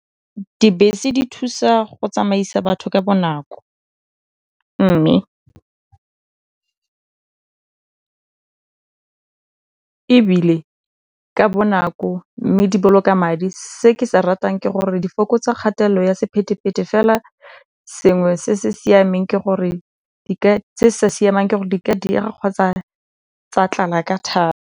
Dibese di thusa go tsamaisa batho ka bonako mme ebile ka bonako mme di boloka madi. Se ke se ratang ke gore di fokotsa kgatelelo ya sephete-phete fela sengwe se se sa siamang di ka diega kgotsa tsa tlala ka .